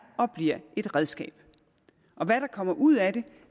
og bliver et redskab og hvad der kommer ud af